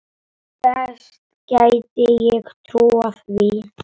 Best gæti ég trúað því.